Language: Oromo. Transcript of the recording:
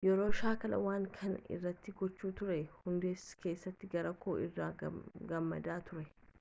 yeroo shaakala waan kana irratti gochaa turre hundaasa keessatti garaa koo irraan gammadaa ture